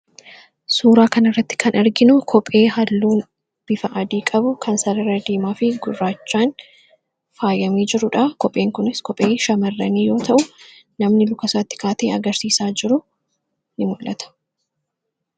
suuraa kana irratti kan arginu kophee halluun bifa adii qabu kan sarara-diimaa fi gurraachaan faayamii jiruudha. kopheen kunis kophee shamarranii yoo ta'u namni lukasaatti kaatee agarsiisaa jiru in muu'ata.